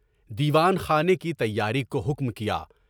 دیوان خانے کی تیاری کو حکم کیا۔